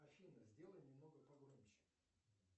афина сделай немного погромче